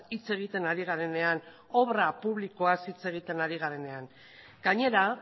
hitz egiten ari garenean obra publikoaz hitz egiten ari garenean gainera